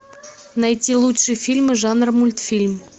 найти лучшие фильмы жанр мультфильм